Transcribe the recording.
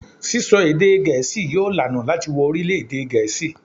Sisọ èdè Gẹẹsi yóò laná láti wo orilẹ-ede Gẹẹsi